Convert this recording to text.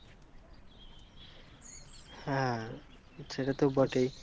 হ্যাঁ সেটা তো বটে।